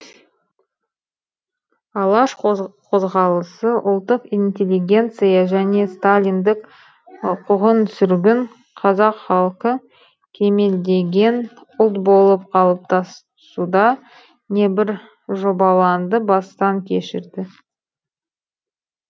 алаш қозғалысы ұлттық интеллигенция және сталиндік қуғын сүргін қазақ халқы кемелдеген ұлт болып қалыптасуда небір жобалаңды бастан кешірді